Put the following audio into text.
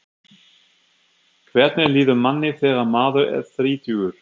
Hvernig líður manni þegar maður er þrítugur?